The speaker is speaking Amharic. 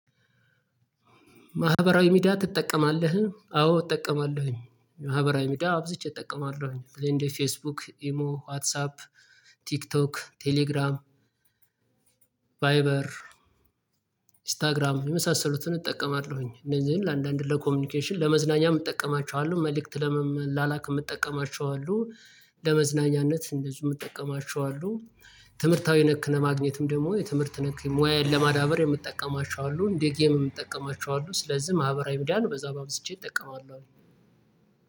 ማህበራዊ ሚዲያ ትጠቀማለህ አዎ እጠቀማለሁኝ። ማህበራዊ ሚዲያ አብዝቼ እጠቀማለሁኝ እንደ ፌስቡክ ኢሞ ዋትሳፕ ቲክቶክ ቴሌግራም ቫይበር ኢንስታግራም የመሳሰሉትን እጠቀማለሁኝ። እንደዚህ ለአንዳንድ ለኮሚኒኬሽን ለመዝናኛ እጠቀማቸዋለሁ መልእክት ለመመላላክ የምጠቀማቸው አሉ። ለመዝናኛነት እንደዚሁ የምጠቀማቸው። ትምህርታዊ ነክ ለማግኘትም ደግሞ የትምህርት ነክ ሙያዬን ለማዳበር የምትጠቀማቸው አሉ እንደ ጌም የምጠቀማቸው አሉ። ስለዚህ ማህበራዊ ሚዲያን ነው በዛም አብዝቼ እጠቀማለሁ።